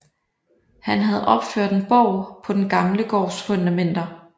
Han havde opført en borg på den gamle gårds fundamenter